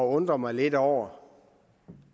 undre mig lidt over